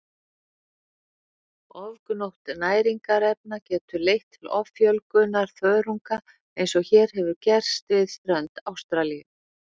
Ofgnótt næringarefna getur leitt til offjölgunar þörunga eins og hér hefur gerst við strönd Ástralíu.